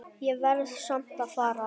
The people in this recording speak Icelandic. Ég verð samt að fara